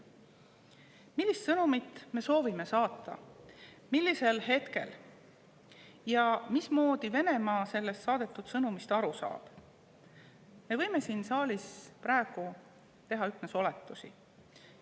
Millist sõnumit me soovime saata, millisel hetkel ja mismoodi Venemaa sellest saadetud sõnumist aru saab, selle kohta me võime siin saalis praegu teha üksnes oletusi.